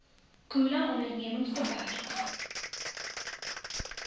khula ondernemings beperk